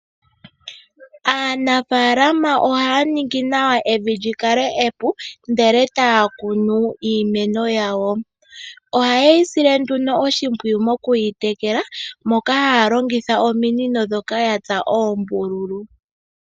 Aanafaalama ohaya ningi nawa evi lyikale epu ndele etaya kunu iimeno yawo. Ohayeyi sile nduno oshipwiyu mokuyi tekela moka haya longitha ominino ndhoka yatsa oombululu.